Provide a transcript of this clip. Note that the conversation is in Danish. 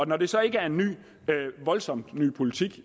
når det så ikke er en voldsomt ny politik